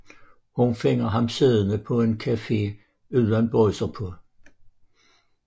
Hun finder ham siddende på en café uden bukser på